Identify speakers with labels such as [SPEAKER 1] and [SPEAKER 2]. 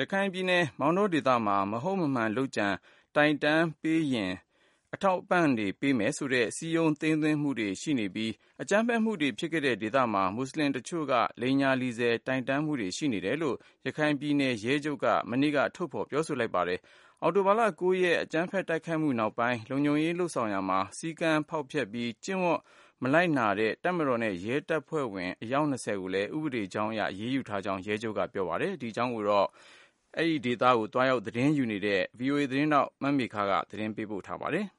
[SPEAKER 1] ရခိုင်ပြည်နယ်မောင်တောဒေသတွင်း မဟုတ်မမှန် လုပ်ကြံတိုင်တန်းပေးမယ်ဆိုရင် အထောက်အပံ့တွေပေးမယ်ဆိုတဲ့ သိမ်းသွင်း ခံနေရတာရှိနေပြီး အကြမ်းဖက်မှုတွေဖြစ်ခဲ့တဲ့ ဒေသမှာ မူဆလင်တချို့က လိမ်ညာလီဆယ်ပြီးတိုင်တန်းမှုတွေ ရှိနေတယ်လို့ ရခိုင်ပြည်နယ်ရဲချုပ်က မနေ့က ထုတ်ဖော်ပြောဆိုလိုက်ပါတယ်။ အောက်တိုဘာ ၉ရက် နောက်ပိုင်း လုံခြုံရေး ရယူတာမှာ စည်းကမ်းဖောက်ဖျက်မှု၊ ကျင့်ဝတ်မနာ ခံမှုတွေကြောင့် လုံခြုံရေး တာဝန်ယူခဲ့တဲ့ တပ်မတော်နဲ့ ရဲတပ်ဖွဲ့ဝင်တွေ အယောက် ၂၀ကိုလည်း ဥပဒေအရ အရေးယူထားတာရှိတယ်လို့လည်း ထုတ်ဖော်ပြောဆိုလိုက်ပါတယ်။ ဒီသတင်းကိုတော့ ရခိုင်ပြည်နယ်ကို ကိုယ်တိုင်သတင်းသွားရောက်ရယူနေတဲ့ ဗွီအိုအေ မြန်မာပိုင်းကမေခကပေးပို့ထားပါတယ်။